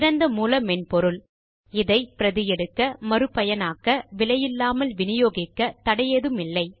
திறந்த மூல மென்பொருள் இதை பிரதி எடுக்க மறு பயனாக்க விலையில்லாமல் வினியோகிக்க தடையில்லை